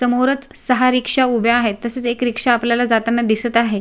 समोर च सहा रिक्षा उभ्या आहे तसेच एक रिक्षा जाताना आपल्याला दिसत आहे.